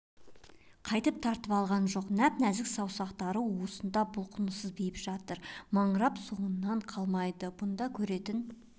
қайтып тартып алған жоқ нәп-нәзік саусақтар уысында бұлқыныссыз бейбіт жатыр маңырап соңынан қалмайды бұнда көретін